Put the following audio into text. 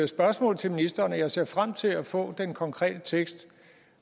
spørgsmål til ministeren og jeg ser frem til at få den konkrete tekst